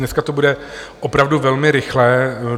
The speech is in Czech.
Dneska to bude opravdu velmi rychlé.